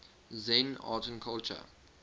zen art and culture